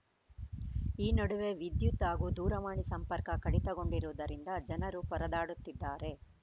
ಈ ನಡುವೆ ವಿದ್ಯುತ್‌ ಹಾಗೂ ದೂರವಾಣಿ ಸಂಪರ್ಕ ಕಡಿತಗೊಂಡಿರುವುದರಿಂದ ಜನರು ಪರದಾಡುತ್ತಿದ್ದಾರೆ